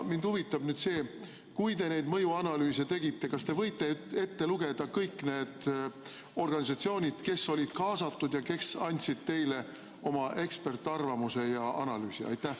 Mind huvitab see: kui te mõjuanalüüse olete teinud, siis kas te võite ette lugeda kõik organisatsioonid, kes olid kaasatud ja kes andsid teile oma eksperdiarvamuse ja analüüsi?